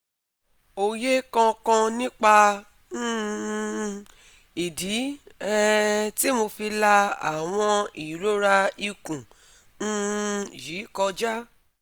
Oye kan kan nipa um idi um ti mo fi la awon irora ikun um yi koja?